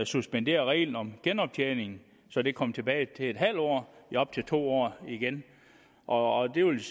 suspendere reglen om genoptjening så det kom tilbage til en halv år i op til to år igen og og det vil